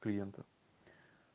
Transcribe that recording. клиента